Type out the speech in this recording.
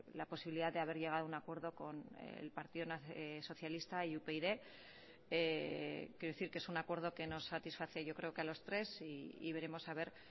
la posibilidad de haber llegado a un acuerdo con el partido socialista y upyd quiero decir que es un acuerdo que nos satisface yo creo que a los tres y veremos